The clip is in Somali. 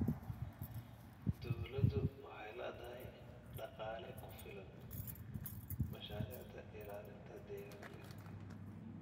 Dawladdu waxay la'dahay dhaqaale ku filan mashaariicda ilaalinta deegaanka.